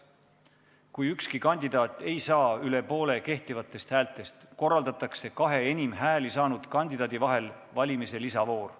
Kui ükski kandidaat ei saa üle poole kehtivatest häältest, korraldatakse kahe enim hääli saanud kandidaadi vahel valimiste lisavoor.